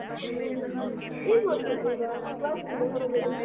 ಹ್ಮ ಏನ್ ಮಾಡ್ತಿದ್ದೀಗ? class ಇಂದ ಹೊರಗಡಿ?